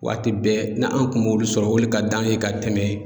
Waati bɛɛ n'an kun b'olu sɔrɔ, olu ka d'an ye ka tɛmɛ